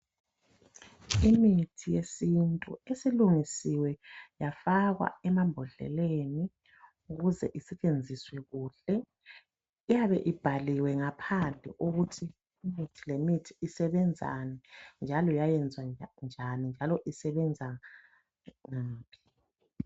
Imithi yesintu esilungisiwe yafakwa ema mbodleleni ukuze isebenziswe kuhle iyabe ibhaliwe ngaphandle ukuthi imithi lemithi isebenzani njalo yalungiswa njani njalo yalungiswa ngaphi